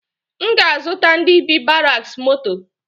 M ga azụta ndi bi ‘baraks moto